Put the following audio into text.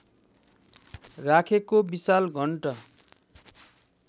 राखेको विशाल घण्ट